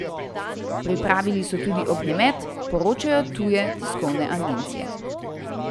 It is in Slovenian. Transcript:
Pripravili so tudi ognjemet, poročajo tuje tiskovne agencije.